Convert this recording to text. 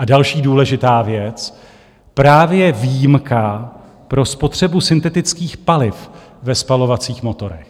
A další důležitá věc, právě výjimka pro spotřebu syntetických paliv ve spalovacích motorech.